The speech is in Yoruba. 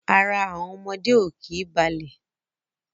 Ara àwọn ọmọdé ó kín balẹ̀